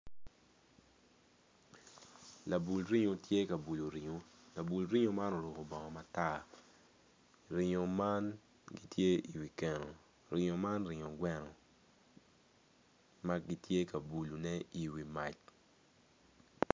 Labul ringo tye ka bulo ringo labul ringo man oruko bongo matar ringo man gitye i wi keno man ringo gweno ma gitye ka bulone i wi mac.